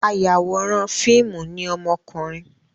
Ayàwòrán fíìmù ni ọmọkùnrin.